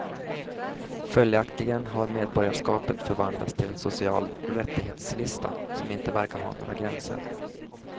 Följaktligen har medborgarskapet förvandlats till en social rättighetslista som inte verkar ha några gränser.